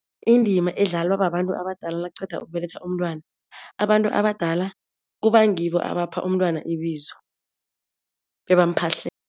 Indima edlalwa babantu abadala nakuqeda ukubelethwa umntwana. Abantu abadala kuba ngibo abapha umntwana ibizo